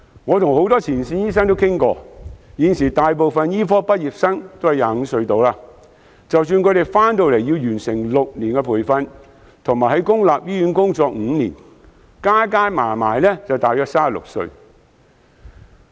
我跟很多前線醫生討論過，現時大部分醫科畢業生年約25歲，即使他們來港後要完成6年培訓，並在公立醫院工作5年，屆時也不過是36歲左右。